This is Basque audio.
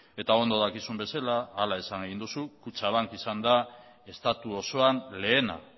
eta ondo dakizun bezala hala esan egin duzu kutxabank izan da estatu osoan lehena